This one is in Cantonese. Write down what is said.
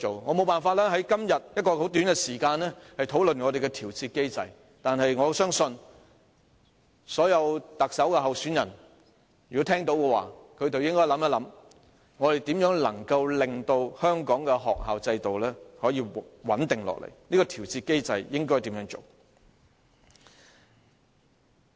我沒法在今天這麼短的時間內討論調節機制，但我相信，所有特首參選人聽到我的發言後，均應思考一下如何令香港的學校制度穩定下來，研究如何制訂調節機制。